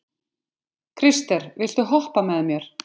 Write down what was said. Krister, viltu hoppa með mér?